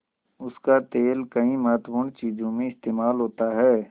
उसका तेल कई महत्वपूर्ण चीज़ों में इस्तेमाल होता है